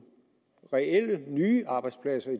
reelle nye arbejdspladser i